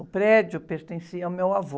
O prédio pertencia ao meu avô.